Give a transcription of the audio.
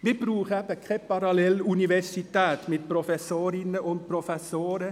Wir brauchen keine Paralleluniversität mit Professorinnen und Professoren.